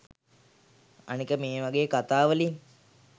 අනික මේ වගේ කතා වලින්